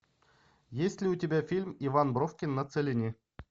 есть ли у тебя фильм иван бровкин на целине